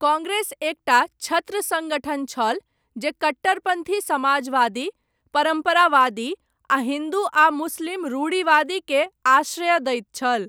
कांग्रेस एकटा छत्र संगठन छल, जे कट्टरपन्थी समाजवादी, परम्परावादी, आ हिन्दू आ मुस्लिम रूढ़िवादी केँ आश्रय दैत छल।